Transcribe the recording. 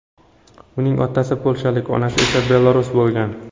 Uning otasi polshalik, onasi esa belarus bo‘lgan.